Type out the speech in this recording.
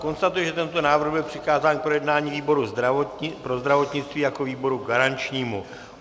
Konstatuji, že tento návrh byl přikázán k projednání výboru pro zdravotnictví jako výboru garančnímu.